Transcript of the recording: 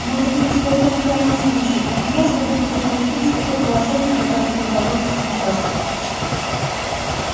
может быть только на крайний случай например чтобы предотвратить такое положение которое создалось сейчас